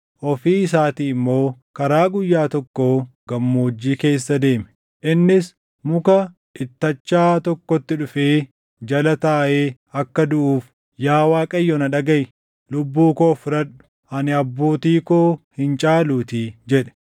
ofii isaatii immoo karaa guyyaa tokkoo gammoojjii keessa deeme. Innis muka ittachaa tokkotti dhufee jala taaʼee akka duʼuuf, “Yaa Waaqayyo na dhagaʼi; lubbuu koo fudhadhu; ani abbootii koo hin caaluutii” jedhe.